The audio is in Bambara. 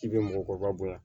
K'i bɛ mɔgɔkɔrɔba bonya